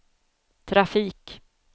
trafik